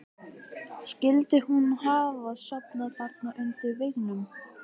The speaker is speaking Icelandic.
Skyldi hún hafa sofnað þarna undir veggnum?